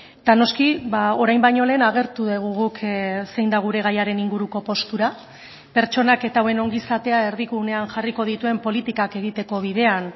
eta noski orain baino lehen agertu dugu guk zein da gure gaiaren inguruko postura pertsonak eta hauen ongizatea erdigunean jarriko dituen politikak egiteko bidean